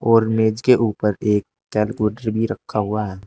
और मेज के ऊपर एक कैलकुलेटर भी रखा हुआ है।